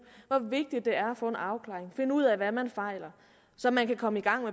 hvor vigtigt det er at få en afklaring finde ud af hvad man fejler så man kan komme i gang